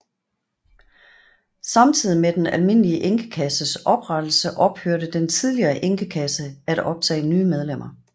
Samtidig med den almindelige enkekasses oprettelse ophørte den tidligere enkekasse at optage nye medlemmer